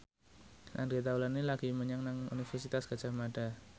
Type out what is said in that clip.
Andre Taulany lagi sekolah nang Universitas Gadjah Mada